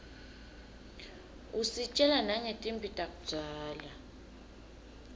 usitjela nangetimphi takudzala